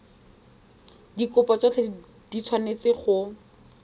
dikopo tsotlhe di tshwanetse go